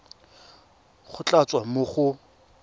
go tla tswa mo go